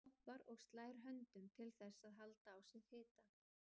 Hoppar og slær út höndunum til þess að halda á sér hita.